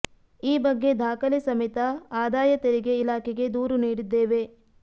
ಈ ಬಗ್ಗೆ ದಾಖಲೆ ಸಮೇತ ಆದಾಯ ತೆರಿಗೆ ಇಲಾಖೆಗೆ ದೂರು ನೀಡಿದ್ದೇವೆ